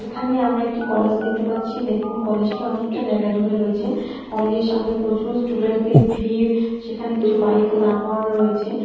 এখানে আমরা একটি কলেজ দেখতে পাচ্ছি দেখুন কলেজ টি অনেকটা জায়গা জুড়ে রয়েছে কলেজে র সামনে প্রচুর স্টুডেন্টদের ভিড় সেখানে কিছু বাইক ও দাঁড় করানো রয়েছে ।